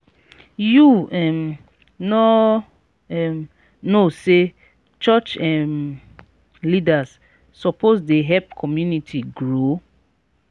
you um no um know sey church um leaders suppose dey help community grow?